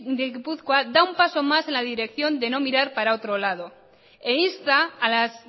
de gipuzkoa da un paso más en la dirección de no mirar para otro lado e insta a las